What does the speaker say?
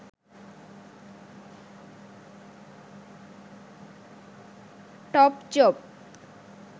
topjob